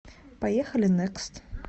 поехали некст